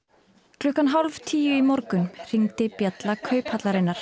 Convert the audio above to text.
klukkan hálf tíu í morgun hringdi bjalla Kauphallarinnar